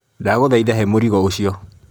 Ndagũthaitha he mũrigo ũcio.